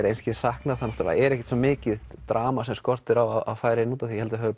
einskis sakna það náttúrulega er ekkert svo mikið drama sem skortir á að færa inn því ég held að þau